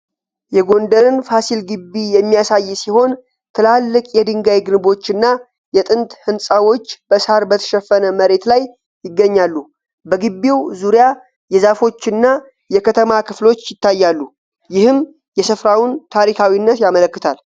የጎንደርን ፋሲል ግቢ የሚያሳይ ሲሆን ትላልቅ የድንጋይ ግንቦችና የጥንት ህንጻዎች በሣር በተሸፈነ መሬት ላይ ይገኛሉ። በግቢው ዙሪያ የዛፎችና የከተማ ክፍሎች ይታያሉ፤ ይህም የስፍራውን ታሪካዊነት ያመለክታል።